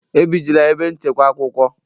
Ebijila ebe nchekwa akwụkwọ!